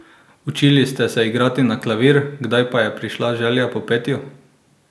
Učili ste se igrati na klavir, kdaj pa je prišla želja po petju?